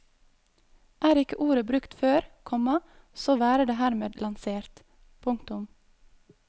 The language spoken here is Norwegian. Er ikke ordet brukt før, komma så være det hermed lansert. punktum